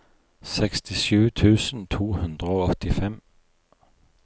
sekstisju tusen to hundre og åttifem